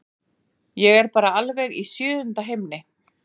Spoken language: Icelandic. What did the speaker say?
Ég er bara alveg í sjöunda himni.